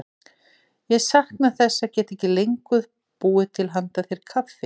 Ég sakna þess að geta ekki lengur búið til handa þér kaffi.